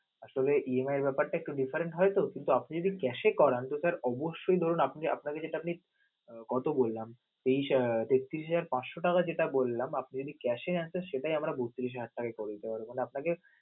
আসলে EMI এর ব্যাপারটা different হয়তো, কিন্তু আপনি যদি cash এ করান তা sir অবশ্যই ধরুন, আপনি~ আপনার কাছে যদি কত বললাম তেত্রিশ হাজার পাঁচশ টাকা যেটা বললাম আপনি যদি cash এ আসেন সেটাই আমরা বত্রিশ হাজার পাঁচশ টাকা করে দিতে পারব.